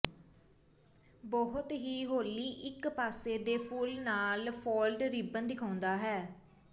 ਬਹੁਤ ਹੀ ਹੌਲੀ ਇਕ ਪਾਸੇ ਦੇ ਫੁੱਲ ਨਾਲ ਫਾਲਟ ਰਿਬਨ ਦਿਖਾਉਂਦਾ ਹੈ